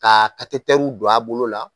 Ka katetɛriw don a bolo la.